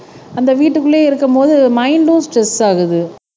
அந்த வீட்டுக்குள்ளேயே இருக்கும்போது மைன்ட்ம் ஸ்ட்ரெஸ் ஆகுது